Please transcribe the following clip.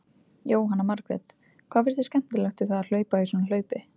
Jóhanna Margrét: Hvað finnst þér skemmtilegt við það að hlaupa í svona hlaupi?